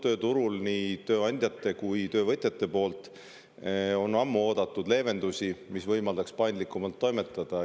Tööturul on nii tööandjad kui ka töövõtjad ammu oodanud leevendusi, mis võimaldaks paindlikumalt toimetada.